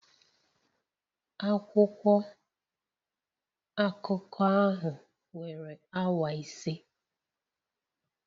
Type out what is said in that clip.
Akwụkwọ akụkọ ahụ were awa ise